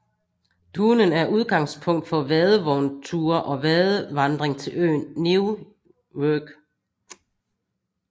Duhnen er udgangspunkt for vadevognture og vadevandring til øen Neuwerk